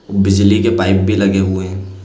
बिजली के पाइप भी लगे हुए हैं।